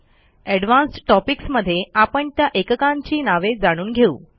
advanced topics मध्ये आपण त्या एककांची नावे जाणून घेऊ